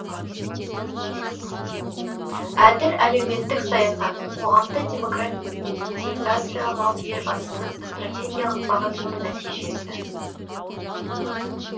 әділ әлеуметтік саясат қоғамды демократизациялау елбасының стратегиялық бағытының нәтижесі